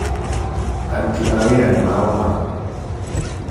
aruti a wĩra nĩmagoma